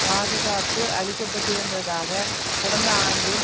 பாதுகாப்பு அளிக்கப்பட்டிருந்ததாக கடந்த ஆண்டின்